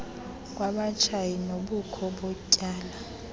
kwabatshayi nobukho botywala